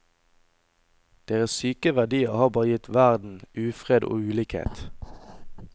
Deres syke verdier har bare gitt verden ufred og ulikhet.